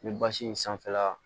Ni basi in sanfɛla